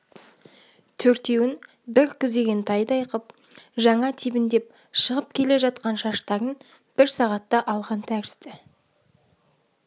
төртеуін бір күзеген тайдай қып жаңа тебіндеп шығып келе жатқан шаштарын бір сағатта алған тәрізді